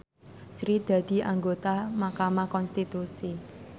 Sri dadi anggota mahkamah konstitusi